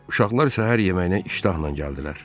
Uşaqlar səhər yeməyinə iştahla gəldilər.